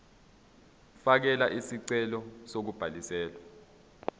fakela isicelo sokubhaliswa